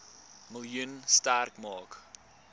miljoen sterk maak